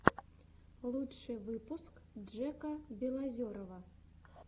лучший выпуск джека белозерова